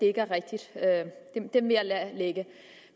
er det rigtigt den vil jeg lade ligge